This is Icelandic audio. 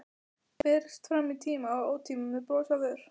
Berist fram í tíma og ótíma, með bros á vör.